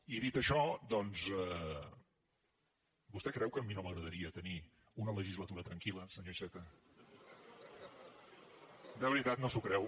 i dit això doncs vostè creu que a mi no m’agradaria tenir una legislatura tranquilde veritat no s’ho creu